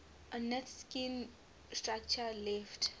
ornithischian structure left